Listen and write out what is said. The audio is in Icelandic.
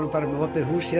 með opið hús hér